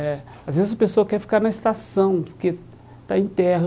É às vezes a pessoa quer ficar na estação, porque está em terra.